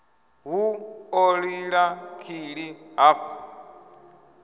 hu ḓo lila kili hafha